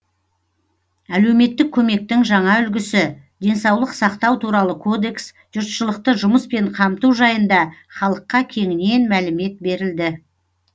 әлеуметтік көмектің жаңа үлгісі денсаулық сақтау туралы кодекс жұртшылықты жұмыспен қамту жайында халыққа кеңінен мәлімет берілді